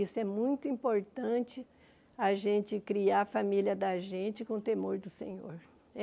Isso é muito importante, a gente criar a família da gente com o temor do Senhor.